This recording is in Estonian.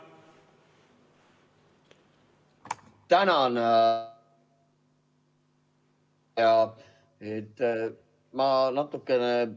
Tänan!